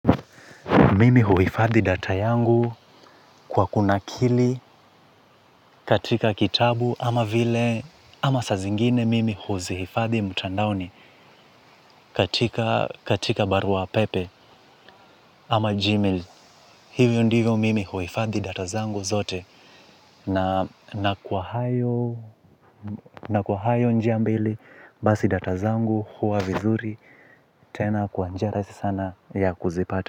Mimi huhifadhi data yangu kwa kunakili katika kitabu ama saa zingine mimi huzihifadhi mtandaoni katika barua pepe ama G-mail. Hivyo ndivyo mimi huhifadhi data zangu zote. Na kwa hayo njia mbili basi data zangu huwa vizuri tena kwa njia rahisi sana ya kuzipata.